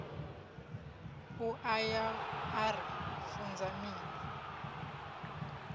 aya a ri funza mini